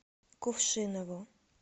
кувшинову